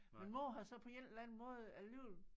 Min mor havde så på en eller anden måde alligevel